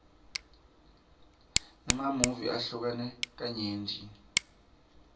emamuvi ahlukene kanyenti